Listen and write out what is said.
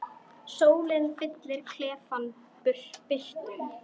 Sólin fyllir klefann birtu.